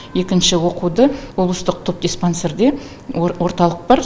екінші оқуды облыстық тубдиспансерде орталық бар